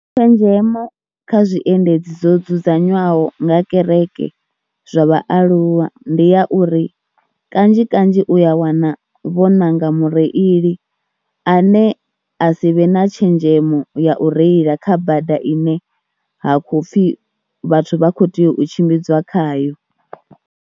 Tshenzhemo kha zwiendedzi zwo dzudzanywaho nga kereke zwa vhaaluwa ndi ya uri kanzhi kanzhi u ya wana vho ṋanga mureili ane a si vhe na tshenzhemo ya u reila kha bada ine ha khou pfhi vhathu vha khou tea u tshimbidzwa khayo.